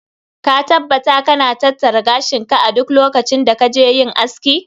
Ka taabbata ka na tattara gashin ka a duk lokacin da ka je yin aski.